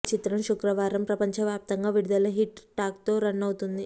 ఈ చిత్రం శుక్రవారం ప్రపంచవ్యాప్తంగా విడుదలై హిట్ టాక్తో రన్ అవుతోంది